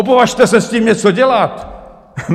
Opovažte se s tím něco dělat!